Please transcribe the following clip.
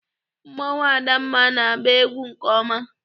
Mmọnwụ adamma na-agba egwu nke ọma.